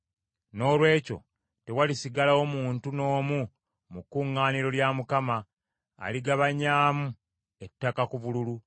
Noolwekyo tewalisigalawo muntu n’omu mu kuŋŋaaniro lya Mukama , aligabanyaamu ettaka ku bululu.